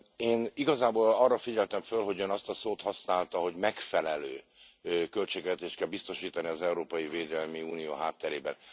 Én igazából arra figyeltem föl, hogy Ön azt a szót használta, hogy megfelelő költségvetést kell biztosítani az európai védelmi unió hátterében.